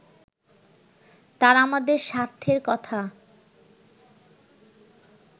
তারা আমাদের স্বার্থের কথা